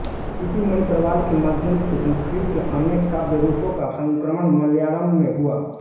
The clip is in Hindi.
इसी मणिप्रवाल के माध्यम से संस्कृत के अनेक काव्यरूपों का संक्रमण मलयालम् में हुआ